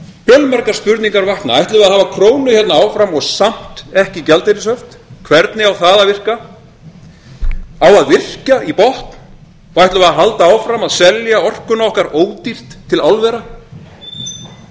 fjölmargar spurningar vakna ætlum við að hafa krónu hérna áfram og samt ekki gjaldeyrishöft hvernig á það að virka á að virkja í botn og ætlum við að halda áfram að selja orkuna okkar ódýrt til álvera á